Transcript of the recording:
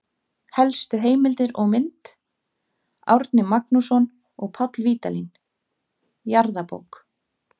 Helstu heimildir og mynd: Árni Magnússon og Páll Vídalín, Jarðabók.